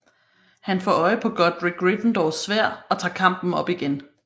Han får øje på Godric Gryffindors Sværd og tager kampen op igen